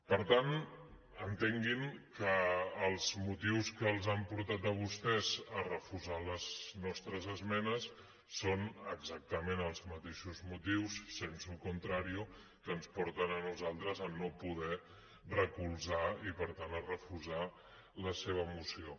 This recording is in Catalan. per tant entenguin que els motius que els han portat a vostès a refusar les nostres esmenes són exactament els mateixos motius sensu contrario que ens porten a nosaltres a no poder recolzar i per tant a refusar la seva moció